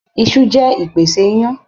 Iṣu jẹ́ ìpèsè ìyàn.